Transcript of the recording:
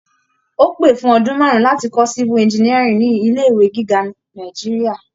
Ó pè fún ọdún marun láti kọ́ civil engineering ní ilé ìwé gíga Nàìjíríà.